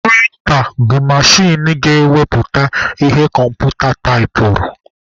Prịnta bụ machin ga-ewepụta ihe kọmputa taipụrụ.